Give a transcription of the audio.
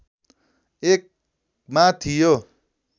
१ मा थियो